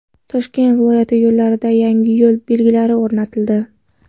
Toshkent viloyati yo‘llarida yangi yo‘l belgilari o‘rnatildi.